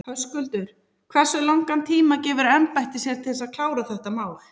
Höskuldur: Hversu langan tíma gefur embættið sér til þess að klára þetta mál?